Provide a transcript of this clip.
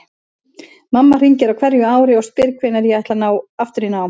Mamma hringir á hverju ári og spyr hvenær ég ætli aftur í nám.